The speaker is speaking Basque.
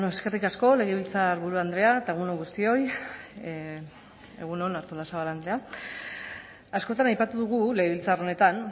eskerrik asko legebiltzarburu andrea eta egun on guztioi egun on artolazabal andrea askotan aipatu dugu legebiltzar honetan